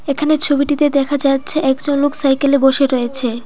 এখানে ছবিটিতে দেখা যাচ্ছে একজন লোক সাইকেলে বসে রয়েছে।